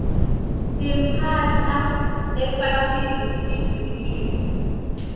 timphahla tefashini tidulile